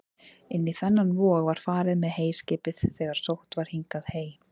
Inn í þennan vog var farið með heyskipið þegar sótt var hingað hey.